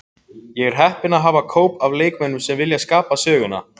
Ég er heppinn að hafa hóp af leikmönnum sem vilja skapa söguna.